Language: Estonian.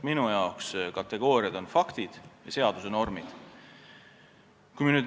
Minu arvates on kategooriad faktid ja seaduse normid.